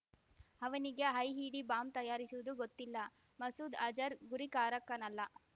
ಅವನಿಗೆ IED bomb ತಯಾರಿಸುವುದು ಗೊತ್ತಿಲ್ಲ ಮಸೂದ್ ಅಜರ್ ಗುರಿಕಾರಕನಲ್ಲ